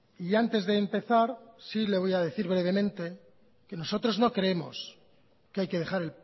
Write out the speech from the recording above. y antes de empezar sí le voy a decir brevemente que nosotros no creemos que hay que dejar